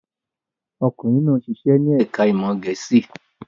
Ọkùnrin náà ṣiṣẹ́ ní ẹ̀ka-ìmọ̀ Gẹ̀ẹ́sì.